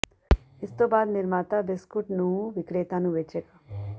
ਇਸ ਤੋਂ ਬਾਅਦ ਨਿਰਮਾਤਾ ਬਿਸਕੁੱਟ ਨੂੰ ਵਿਕਰੇਤਾ ਨੂੰ ਵੇਚੇਗਾ